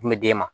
Kun bɛ d' e ma